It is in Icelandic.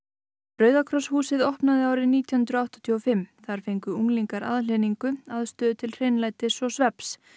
rauða kross húsið var opnað árið nítján hundruð áttatíu og fimm þar fengu unglingar aðhlynningu aðstöðu til hreinlætis og svefns